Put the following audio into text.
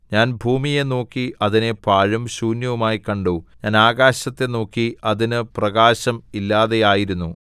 ഞാൻ ഭൂമിയെ നോക്കി അതിനെ പാഴും ശൂന്യവുമായി കണ്ടു ഞാൻ ആകാശത്തെ നോക്കി അതിന് പ്രകാശം ഇല്ലാതെയിരുന്നു